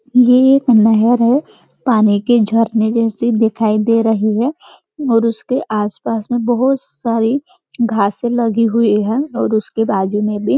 यह एक नहर है पानी के झरने जैसे दिखाई दे रही है और उसके आसपास में बहुत सारी घासें लगी हुई है और उसके बाजु में भी --